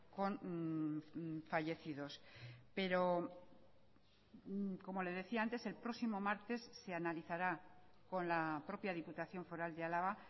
con fallecidos pero como le decía antes el próximo martes se analizará con la propia diputación foral de álava